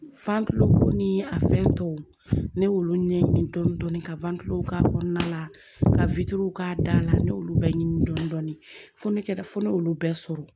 ko ni a fɛn tɔw ne y'olu ɲɛɲini dɔni dɔni ka k'a kɔnɔna la ka k'a da la ne y'olu bɛɛ ɲini dɔndɔni fɔ ne kɛra fo ne y'olu bɛɛ sɔrɔ